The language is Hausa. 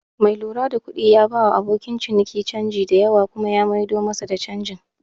Mai lura da kuɗi ya bawa abokin ciniki canji da yawa kuma ya mai do masa da canjin